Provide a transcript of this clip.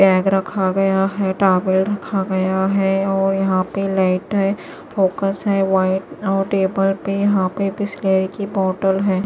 Bag रखा गया है टॉवल रखा गया है और यहां पे लाइट है फोकस है वाइट और टेबल पे यहां पे बिसलेरी की बॉटल है।